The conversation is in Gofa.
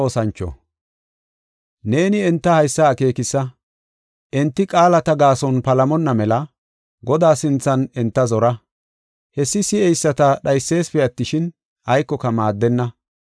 Neeni enta haysa akeekisa; enti qaalata gaason palamonna mela, Godaa sinthan enta zora. Hessi si7eyisata dhaysesipe attishin, aykoka maaddenna.